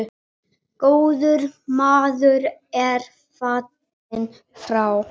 Góður maður er fallinn frá.